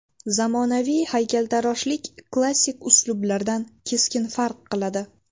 Zamonaviy haykaltaroshlik klassik uslublardan keskin farq qiladi.